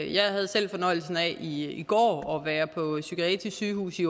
jeg havde selv fornøjelsen af i i går at være på psykiatrisk sygehus i